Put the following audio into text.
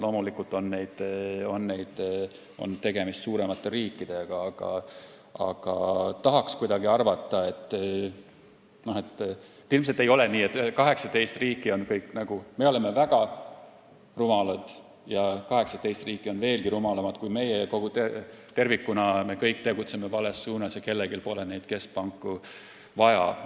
Loomulikult on tegemist suuremate riikidega, aga tahaks arvata, et ilmselt ei ole nii, et kõik 18 riiki on veelgi rumalamad kui meie, me kõik tegutseme vales suunas ja keskpanku pole kellelgi vaja.